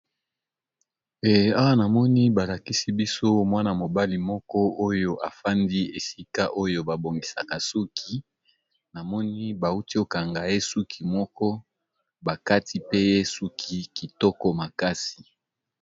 Awa namoni balakisi biso mwana mobali afandi esika oyo ba bongisaka suki namoni bauti kokanga ye suki pe bakati ye suki kitoko makasi.